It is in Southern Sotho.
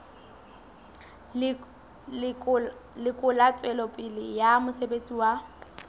lekola tswelopele ya mosebetsi wa